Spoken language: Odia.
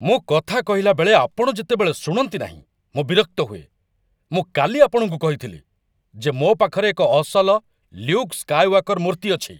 ମୁଁ କଥା କହିଲାବେଳେ ଆପଣ ଯେତେବେଳେ ଶୁଣନ୍ତିନାହିଁ, ମୁଁ ବିରକ୍ତ ହୁଏ। ମୁଁ କାଲି ଆପଣଙ୍କୁ କହିଥିଲି ଯେ ମୋ ପାଖରେ ଏକ ଅସଲ 'ଲ୍ୟୁକ୍ ସ୍କାୟୱାକର୍' ମୂର୍ତ୍ତି ଅଛି।